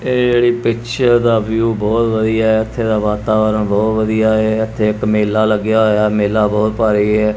ਇਹ ਜਿਹੜੀ ਪਿਕਚਰ ਦਾ ਵਿਊ ਬਹੁਤ ਵਧੀਆ ਹੈ ਇੱਥੇ ਦਾ ਵਾਤਾਵਰਣ ਬਹੁਤ ਵਧੀਆ ਹੈ ਇੱਥੇ ਇੱਕ ਮੇਲਾ ਲੱਗਿਆ ਹੋਇਆ ਹੈ ਮੇਲਾ ਬਹੁਤ ਭਾਰੀ ਹੈ।